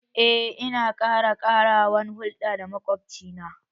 Eh, ina kyakyawan hulɗa da makwabci na